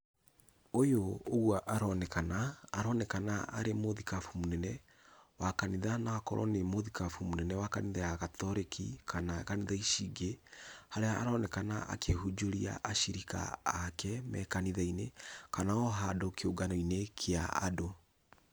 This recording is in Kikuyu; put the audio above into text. Ũyũ ũgwo aronekana, aronekana nĩ mũthikabu mũnene wa kanitha , na akorwo nĩ mũthikabu mũnene wa kanitha ya katoreki, kana kanitha ci ingĩ, harĩa aronekana akĩhunjĩria acirika ake me kanitha-inĩ, kana o handũ kĩũngano-inĩ kĩa andũ.